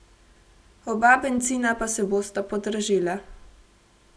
Oba bencina pa se bosta podražila.